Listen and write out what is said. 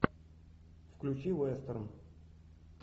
включи вестерн